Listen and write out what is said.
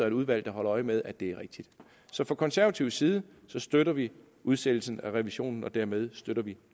et udvalg der holder øje med at det er rigtigt så fra konservativ side støtter vi udsættelsen af revisionen og dermed støtter vi